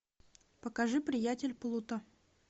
покажи приятель плута